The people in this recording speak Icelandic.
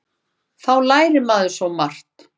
Þá lærir maður svo margt.